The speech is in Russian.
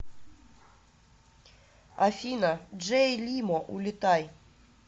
афина джей лимо улетай